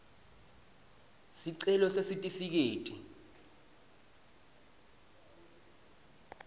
sicelo sesitifiketi